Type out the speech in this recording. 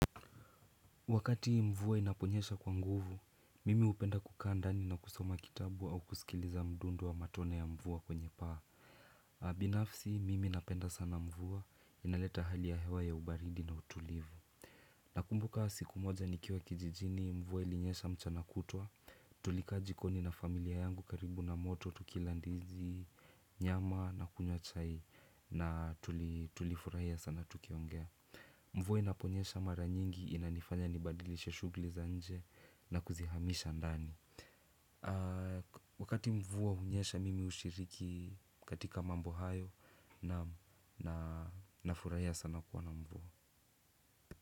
Wakati mvua inaponyesha kwa nguvu, mimi hupenda kukaa ndani na kusoma kitabu au kusikiliza mdundo wa matone ya mvua kwenye paa. Binafsi, mimi napenda sana mvua, inaleta hali ya hewa ya ubaridi na utulivu. Nakumbuka siku moja nikiwa kijijini, mvua ilinyesha mchana kutwa, tulikaa jikoni na familia yangu karibu na moto, tukila ndizi, nyama na kunywa chai na tulifurahia sana tukiongea. Mvua inaponyesha mara nyingi inanifanya nibadilishe shughuli za nje na kuzihamisha ndani. Wakati mvua hunyesha mimi hushiriki katika mambo hayo naam na nafurahia sana kuwa na mvua.